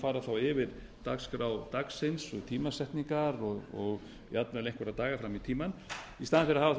fara þá yfir dagskrá dagsins og tímasetningar og jafnvel einhverja daga fram í tímann í staðinn fyrir að hafa uppi þau